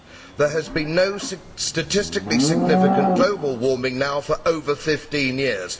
There has been no statistically significant global warming now for over fifteen years.